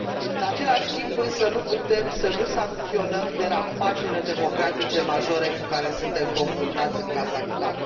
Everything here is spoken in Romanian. În același timp, însă, nu putem să nu sancționăm derapajele democratice majore cu care suntem confruntați în Kazahstan.